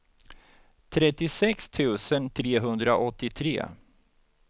trettiosex tusen trehundraåttiotre